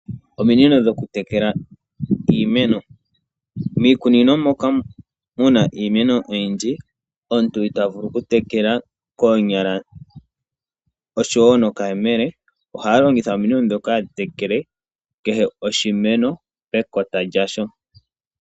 Ominino dhokutekela iimeno ,miikunino moka mu na iimeno oyindji omuntu ita vulu ku tekela koonyala oshowo nokayemele oha longitha ominino dhoka hadhi tekele kehe oshimeno pekota lyasho.